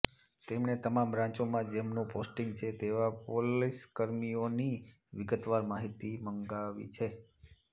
તેમણે તમામ બ્રાંચોમાં જેમનું પોસ્ટીંગ છે તેવા પોલીસકર્મીઓની વિગતવાર માહિતી મંગાવી છે